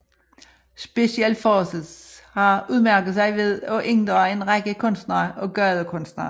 Special Forces har udmærket sig ved at inddrage en række kunstnere og gadekunstnere